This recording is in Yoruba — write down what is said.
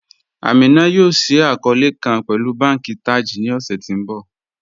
Amina yóò ṣíí akọọlẹ̀ kàn pẹ̀lú bànki Taj ní ọṣẹ̀ tí n bọ